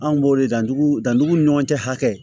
Anw b'o de dan dugu danduguw ni ɲɔgɔn cɛ hakɛ kɛ